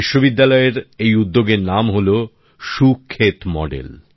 বিশ্ববিদ্যালয়ের এই উদ্যোগের নাম হল সুক্ষেত মডেল